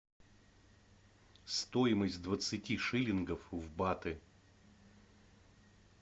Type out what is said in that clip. стоимость двадцати шиллингов в баты